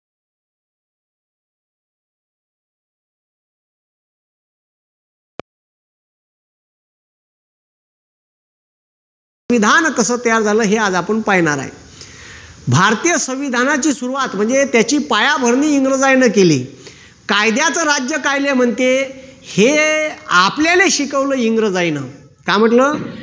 विधान कस तयार झाला आहे हे आज आपण पाहणार आहेत भारतीय संविधानाचे सुरुवात म्हणजे त्याची पायाभरणी इंग्रजांन केली कायद्याचे राज्य काय म्हणते हे आपल्याले शिकवल इंग्रजांना काय म्हटलं